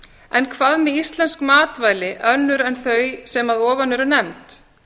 en hvað með íslensk matvæli önnur en þau sem að ofan eru nefnd